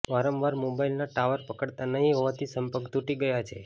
વારંવાર મોબાઈલના ટાવર પકડતા નહીં હોવાથી સપર્ક તૂટી ગયા છે